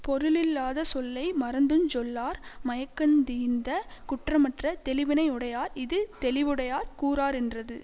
பொருளில்லாத சொல்லை மறந்துஞ் சொல்லார் மயக்கந் தீர்ந்த குற்றமற்ற தெளிவினை யுடையார் இது தெளிவுடையார் கூறாரென்றது